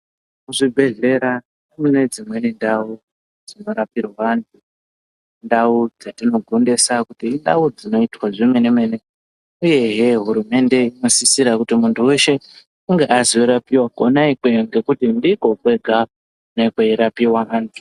Kuzvibhehlera kune dzimweni ndau dzinorapirwa antu ndau dzatino gondesa kuti indau dzinoitwa zvemenemene uyehee. Hurumende inosisira kuti muntu weshe azorapiwa kona ikweyo nekuti ndiko kwega kune kwei rapiwa antu.